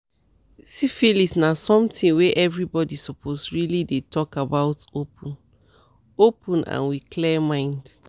siphilis na something were every body suppose really dey talk about open-open and with clear mind